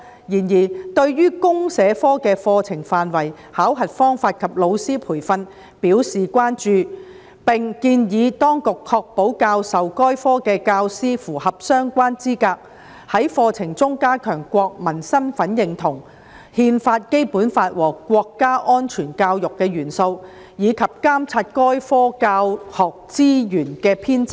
然而，事務委員會對於公社科的課程範圍、考核方法及老師培訓表示關注，並建議當局確保教授該科的教師符合相關資格，在課程中加強國民身份認同、《憲法》、《基本法》和國家安全教育的元素，以及監察該科教學資源的編製。